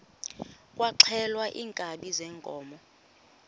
kwaxhelwa iinkabi zeenkomo